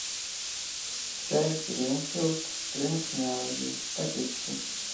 чай гринфилд спринг мелоди в пакетиках